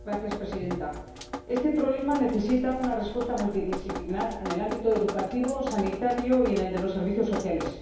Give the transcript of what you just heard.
Señora Presidenta, este problema necesita una respuesta multidisciplinar en el ámbito educativo, sanitario y en el de los servicios sociales.